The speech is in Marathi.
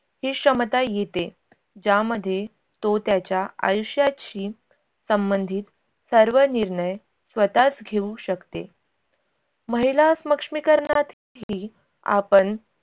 ही क्षमता येते ज्यामध्ये तो त्याच्या आयुष्याशी संमंधित सर्व निर्णय स्वतःच घेऊ शकते. महिला स्मक्ष्मीकरनातही आपण